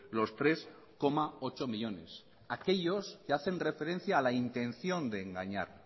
los tres coma ocho millónes aquellos que hacen referencia a la intención de engañar